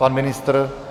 Pan ministr?